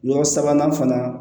Yɔrɔ sabanan fana